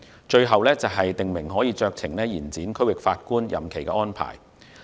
最後，訂明可酌情延展區域法院法官任期的安排。